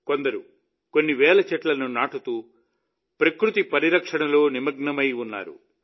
కొందరు కొన్ని వేల చెట్లను నాటుతూ ప్రకృతి పరిరక్షణలో నిమగ్నమై ఉన్నారు